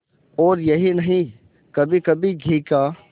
और यही नहीं कभीकभी घी का